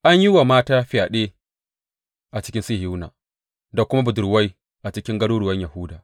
An yi wa mata fyaɗe a cikin Sihiyona, da kuma budurwai a cikin garuruwan Yahuda.